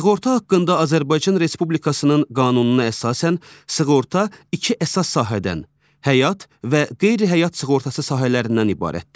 Sığorta haqqında Azərbaycan Respublikasının qanununa əsasən sığorta iki əsas sahədən, həyat və qeyri-həyat sığortası sahələrindən ibarətdir.